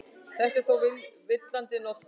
Þetta er þó villandi notkun.